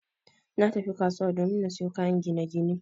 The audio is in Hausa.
Natafi kasuwan domin na sayo kayan ginagine